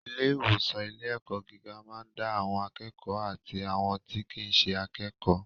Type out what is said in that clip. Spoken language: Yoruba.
Ilé ìwòsan ilé ẹ̀kọ́ gíga ma da àwọn akékòó àti àwọn tí kìí ṣe akékòó.